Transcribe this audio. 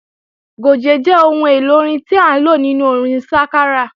Gòjé jẹ́ ohun èlò orin tí à ń lò nínú orin sákárà